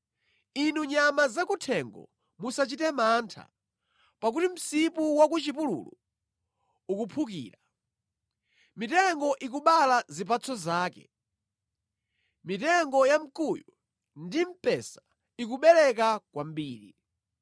Inu nyama zakuthengo, musachite mantha, pakuti msipu wa ku chipululu ukuphukira. Mitengo ikubala zipatso zake; mitengo ya mkuyu ndi mpesa ikubereka kwambiri.